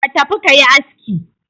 Ka tafi ka yi aski!